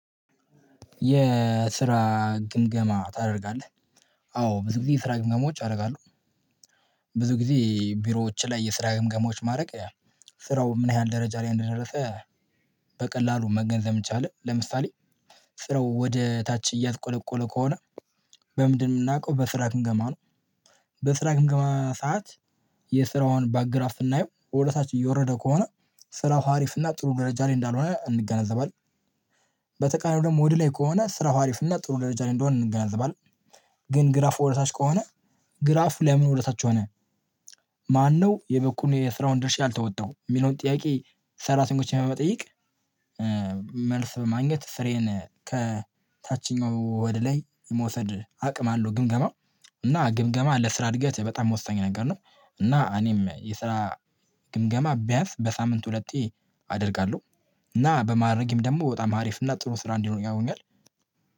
የስራ ግምገማ ታደርጋለህ አዎ ብዙ ጊዜ የስራ ግምገማዎች አደርጋለሁ። ብዙ ጊዜ ቢሮዎች ላይ የስራ ግምገማዎች ማድረግ ስራው ምን ያህል ደረጃ ላይ እንደደረሰ በቀላሉ መገንዘብ የሚቻል ለምሳሌ? ስራው ወደ ታች እያሽቆለቆለ ከሆነ በምንድነው የምናውቀው በስራ ግንገማ ነው። በስራ ግምገማ ሰዓት የስራውን ባርግራፍ ስናየው ወደ ታች እየወረደ ከሆነ ስራ ሀሪፍ እና ጥሩ ደረጃ ላይ እንዳልሆነ እንገናዘባለን። በተቃራኒው ደግሞ ወደ ላይ ከሆነ ስራው አሪፍ እና ጥሩ ደረጃ ላይ እንደሆነ እንገነዘባለን። ግን ግራፍ ወደታች ከሆነ ግራፍ ለምን ወደታች ሆነ? ማነው የበኩሉን የስራውን ድርሻ አልተወጣውም የሚለውን ጥያቄ? ሰራተኞችን በመጠየቅ መልስ በማግኘት ስራዬን ከታችኛው ወደ ላይ መውሰድ አቅም አለው። ግምገማ እና ግምገማ ለስራ እድገት በጣም ወሳኝ ነገር ነው። እና እኔም የስራ ግምገማ ቢያንስ በሳምንት ሁለቴ አደርጋለሁ። እና በማድረግም ደግሞ በጣም አሪፍ እና ጥሩ ስራ እንዲኖር ያውኛል።